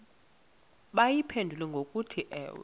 bayiphendule ngokuthi ewe